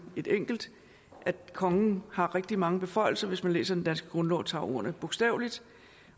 et enkelt og at kongen har rigtig mange beføjelser hvis man læser den danske grundlov og tager ordene bogstaveligt